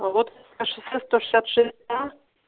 а вот а шоссе сто шестьдесят шесть а